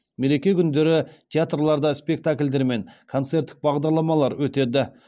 мереке күндері театрларда спектакльдер мен концерттік бағдарламалар өтеді